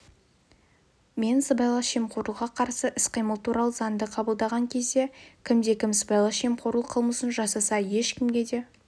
мен сыбайлас жемқорлыққа қарсы іс-қимыл туралы заңды қабылдаған кезде кімде-кім сыбайлас жемқорлық қылмысын жасаса ешкімге де